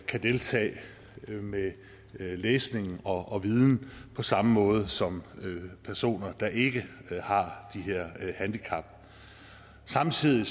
kan deltage med læsning og og viden på samme måde som personer der ikke har de her handicap samtidig